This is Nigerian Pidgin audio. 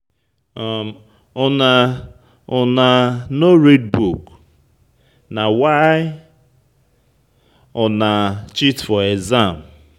Una Una no read book, na why una cheat for exam.